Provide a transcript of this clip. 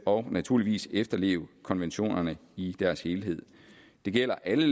og naturligvis efterleve konventionerne i deres helhed det gælder alle